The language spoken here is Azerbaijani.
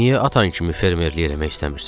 Niyə atan kimi fermerlik eləmək istəmirsən?